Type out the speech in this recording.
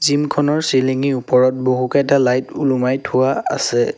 Gym খনৰ ceiling ৰ আছে ওপৰত বহুকেইটা লাইট ওলোমাই থোৱা আছে।